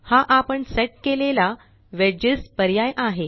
हा आपण सेट केलेला वेजेस पर्याय आहे